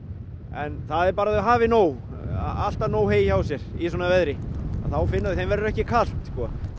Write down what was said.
en það er bara að þau hafi nóg alltaf nóg hey hjá sér í svona verði þeim verður ekki kalt